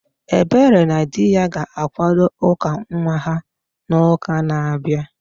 Ebere na dị ya ga-akwado ụka nwa ha n'uka na-abịa